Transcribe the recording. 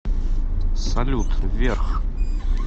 салют вверх